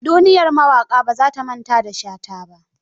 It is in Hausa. Duniyar mawaƙa ba za ta manata da shata ba.